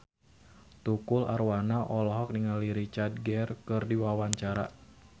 Tukul Arwana olohok ningali Richard Gere keur diwawancara